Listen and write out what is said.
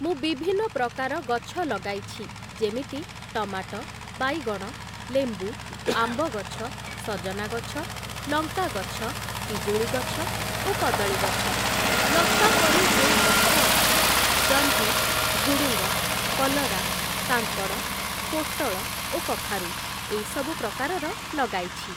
ମୁଁ ବିଭିନ୍ନ ପ୍ରକାର ଗଛ ଲଗାଇଛି ଯେମିତି ଟମାଟ, ବାଇଗଣ, ଲେମ୍ବୁ, ଆମ୍ବ ଗଛ, ସଜନା ଗଛ, ଲଙ୍କା ଗଛ, ପିଜୁଳି ଗଛ ଓ କଦଳୀ ଗଛ । ଲତା ପରି ଯେଉଁ ଗଛ ଅଛି ଜହ୍ନି, ଝୁଡ଼ୁଙ୍ଗ, କଲରା, କାଙ୍କଡ଼, ପୋଟଳ ଓ କଖାରୁ ଏଇ ସବୁ ପ୍ରକାରର ଲଗାଇଛି ।